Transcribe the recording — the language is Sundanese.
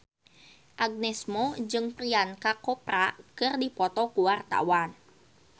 Agnes Mo jeung Priyanka Chopra keur dipoto ku wartawan